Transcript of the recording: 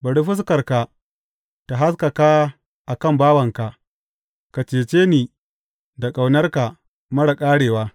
Bari fuskarka ta haskaka a kan bawanka; ka cece ni da ƙaunarka marar ƙarewa.